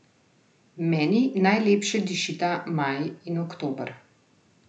Meni najlepše dišita maj in oktober.